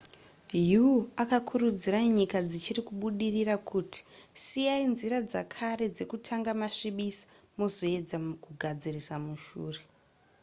hu akakurudzira nyika dzichiri kubudirira kuti siyai nzira dzekare dzekutanga masvibisa mozoedza kugadzirisa mushure